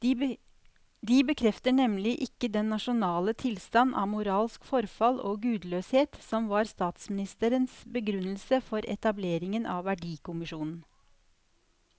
De bekrefter nemlig ikke den nasjonale tilstand av moralsk forfall og gudløshet som var statsministerens begrunnelse for etableringen av verdikommisjonen.